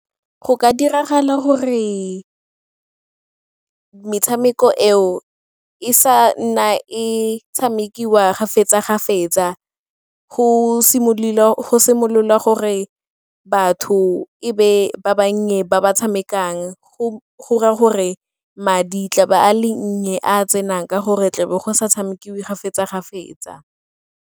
Go ka diragala gore metshameko eo e sa nna e tshamekiwa ga fetsa ga fetsa go simolola la gore batho ebe ba bannye ba ba tshamekang go raya gore madi tla ba a le nnye a a tsenang ka gore tle be go sa tshamekiwe ga fetsa ga fetsa.